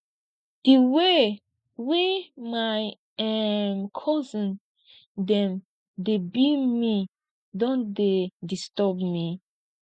di way way my um cousin dem dey bill me don dey disturb me